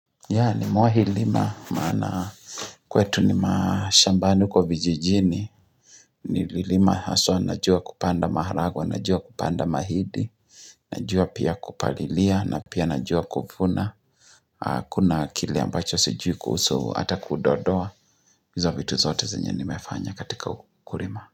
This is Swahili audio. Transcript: Yani mohi lima maana kwetu ni mashambani kwa vijijini ni lima aswa najua kupanda maharagwe, najua kupanda mahindi, najua pia kupalilia, na pia najua kuvuna, kuna kile ambacho sijui kusu ata kudodoa, hizo vitu zote zenye nimefanya katika ukulima.